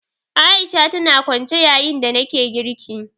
A'isha tana kwance yayin da nake girki